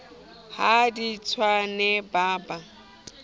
ha di tswane ba ba